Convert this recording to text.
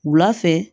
Wula fɛ